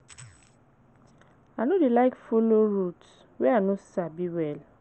I no dey like folo route wey I no sabi well.